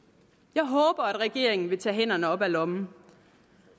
jeg håber at regeringen vil tage hænderne op af lommen